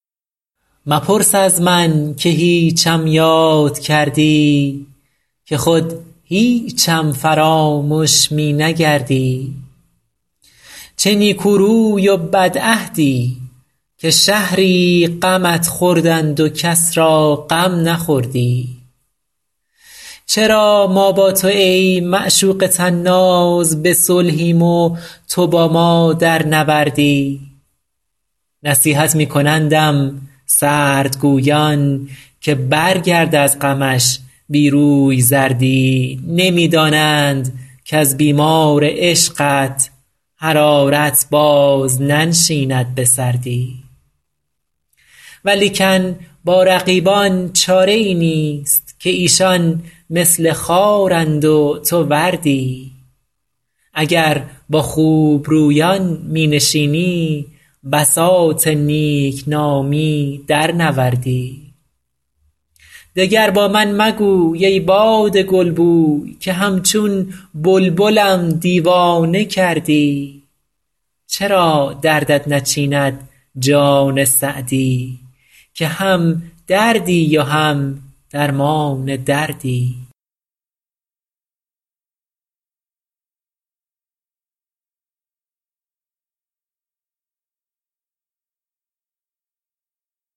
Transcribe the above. مپرس از من که هیچم یاد کردی که خود هیچم فرامش می نگردی چه نیکو روی و بدعهدی که شهری غمت خوردند و کس را غم نخوردی چرا ما با تو ای معشوق طناز به صلحیم و تو با ما در نبردی نصیحت می کنندم سردگویان که برگرد از غمش بی روی زردی نمی دانند کز بیمار عشقت حرارت باز ننشیند به سردی ولیکن با رقیبان چاره ای نیست که ایشان مثل خارند و تو وردی اگر با خوبرویان می نشینی بساط نیک نامی درنوردی دگر با من مگوی ای باد گلبوی که همچون بلبلم دیوانه کردی چرا دردت نچیند جان سعدی که هم دردی و هم درمان دردی